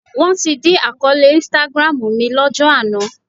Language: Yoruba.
Wọ́n ti dí àkọọ́lẹ̀ Instagram mi lọ́jọ́ àná